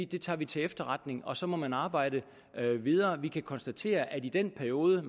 det tager vi til efterretning og så må man arbejde videre vi kan konstatere at i den periode